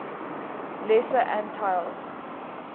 lesser antilles